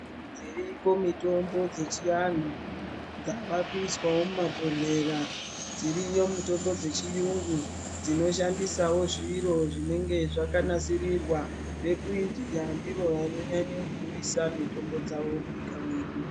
Dziriko mitombo dzechianhu, dzavakuiswawo mumabhodhlera. Dziriyo mitombo dzechiyungu dzinoshandisawo zviro zvinenge zvakanasirirwa. VekuIndia ndivo vanonyanye kuuisa mitombo munyika mwedu.